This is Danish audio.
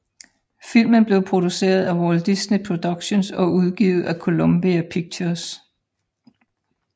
Filmen blev produceret af Walt Disney Productions og udgivet af Columbia Pictures